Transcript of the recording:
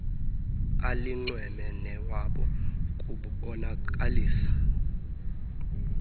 alinxweme newabo kubonakalisa